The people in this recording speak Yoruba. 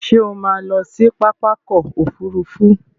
Ṣé o má a lọ sí pápákọ̀ òfurufú.